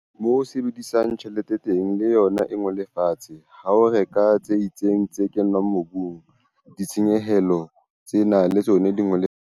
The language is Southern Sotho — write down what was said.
Moo o sebedisang tjhelete teng, le yona e ngole fatshe. Ha o reka tse itseng tse kenngwang mobung, ditshenyehelo tsena le tsona di ngole fatshe.